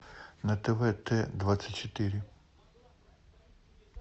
на тв т двадцать четыре